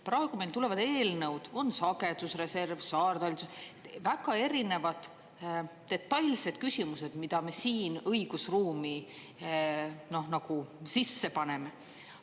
Praegu meil tulevad eelnõud, on sagedusreserv, saartalitlus, väga erinevad detailsed küsimused, mida me siin õigusruumi sisse paneme.